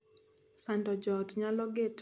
Sando joot nyalo geto bende hinyo chuny.